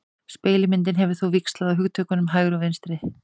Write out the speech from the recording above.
Spegilmyndin hefur þó víxlað á hugtökunum hægri og vinstri.